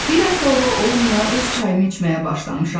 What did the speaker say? Bir həftə ola-olmaya öz çayımı içməyə başlamışam.